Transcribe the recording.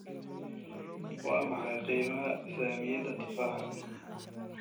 Waa maxay qiimaha saamiyada tufaaxa?